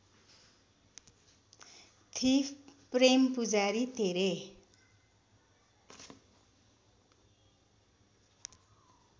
thief Prem Pujari Tere